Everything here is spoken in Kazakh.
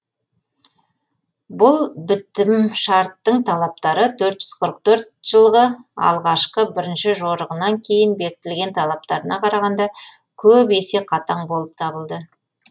бұл бітімшарттың талаптары төрт жүз қырық төрт жылғы алғашқы бірінші жорығынан кейін бекітілген талаптарына қарағанда көп есе қатаң болып табылды